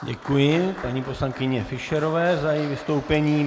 Děkuji paní poslankyni Fischerové za její vystoupení.